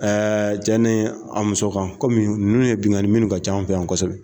Ɛɛ cɛ ni a muso kan kɔmi ninnu ye binnlkanni ye minnu ka ca an fɛ yan kosɛbɛ